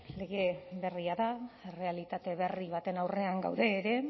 lege berria da errealitate berri batean gaude ere